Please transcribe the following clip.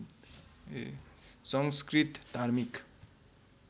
संस्कृत धार्मिक